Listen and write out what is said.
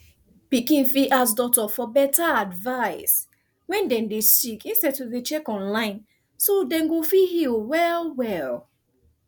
pikin fit ask doctor for better advice wen dem dey sick instead to dey check online so dem go fit heal well well